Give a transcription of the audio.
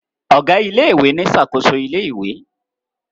Ọgá ilé ìwé ní ṣakoso ilé ìwé